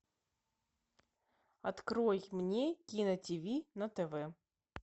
открой мне кино ти ви на тв